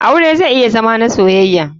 Aure zai iya Zama na soyaya.